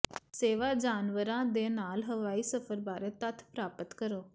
ਸੇਵਾ ਜਾਨਵਰਾਂ ਦੇ ਨਾਲ ਹਵਾਈ ਸਫ਼ਰ ਬਾਰੇ ਤੱਥ ਪ੍ਰਾਪਤ ਕਰੋ